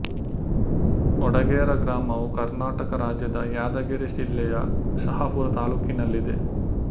ವಡಗೇರಾ ಗ್ರಾಮವು ಕರ್ನಾಟಕ ರಾಜ್ಯದ ಯಾದಗಿರಿ ಜಿಲ್ಲೆಯ ಶಹಾಪುರ ತಾಲ್ಲೂಕಿನಲ್ಲಿದೆ